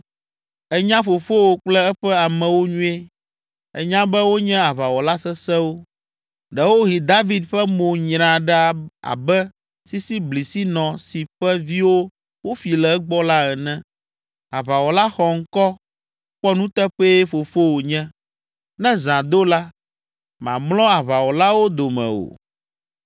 Ènya fofowò kple eƒe amewo nyuie, ènya be wonye aʋawɔla sesẽwo. Ɖewohĩ David ƒe mo nyra ɖa abe sisiblisinɔ si ƒe viwo wofi le egbɔ la ene. Aʋawɔla xɔŋkɔ, kpɔnuteƒee fofowò nye, ne zã do la, mamlɔ aʋawɔlawo dome o.